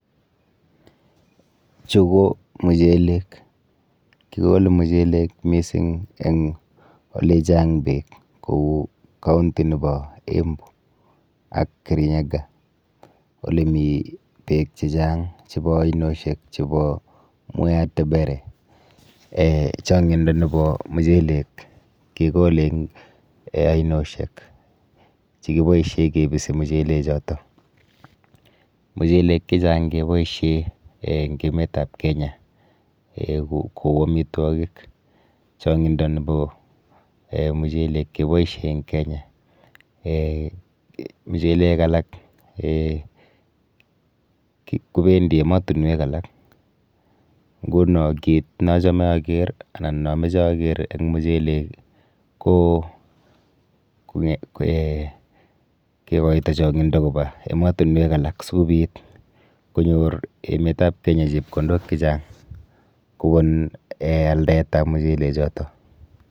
Chu ko muchelek. Kikole muchelek mising eng olichang beek kou county nepo Embu ak Kirinyaga olemi beek chechang chepo ainoshek chepo Mwea Tebere. um Chang'indo nepo muchelek kekole eng um ainoshek chekiboishe kibisi muchelechoto. Muchelek chechang keboishe um eng emetap Kenya um kou amitwokik. Chong'indo nepo [um]muchelek keboishe eng Kenya[um] muchelek alak um kopendi emotunwek alak, nguno kit neachome aker anan nameche aker eng muchelek ko um kekoito chong'indo kopa emotunwek alak sikobit konyor emetap Kenya chepkondok chechang kobun um aldaetap muchelechoto.